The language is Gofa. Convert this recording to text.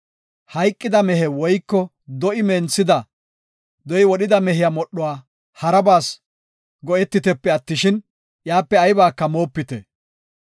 Hayqida mehe woyko do7i wodhida mehiya modhuwa harabas go7etitepe attishin, iyape aybaka moopite.